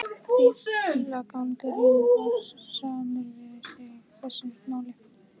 Fíflagangurinn var samur við sig í þessu máli.